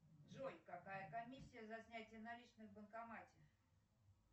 джой какая комиссия за снятие наличных в банкомате